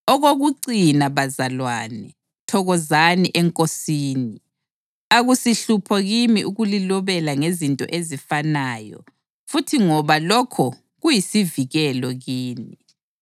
Okokucina, bazalwane, thokozani eNkosini! Akusihlupho kimi ukulilobela ngezinto ezifanayo futhi ngoba lokho kuyisivikelo kini.